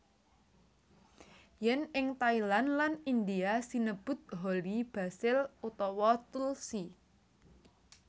Yèn ing Thailand lan India sinebut holy basil utawa tulsi